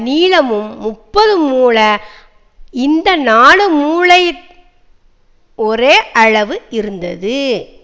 நீளமும் முப்பது முழ இந்த நாலு மூலை ஒரே அளவு இருந்தது